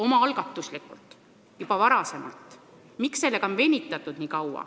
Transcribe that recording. Miks on sellega nii kaua venitatud?